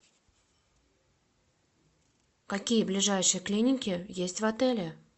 какие ближайшие клиники есть в отеле